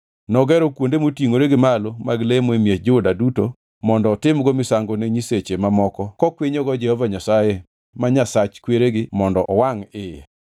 Nogero kuonde motingʼore gi malo mag lemo e miech Juda duto mondo otim misango ne nyiseche mamoko kokwinyogo Jehova Nyasaye, ma Nyasach kweregi mondo owangʼ iye.